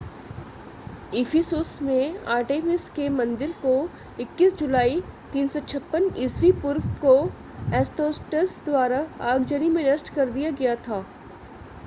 इफिसुस में आर्टेमिस के मंदिर को 21 जुलाई 356 ई.पू. को एस्तोस्टस द्वारा आगजनी में नष्ट कर दिया गया था